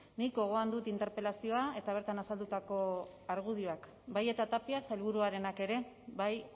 nik gogoan dut interpelazioa eta bertan azaldutako argudioak bai eta tapia sailburuarenak ere bai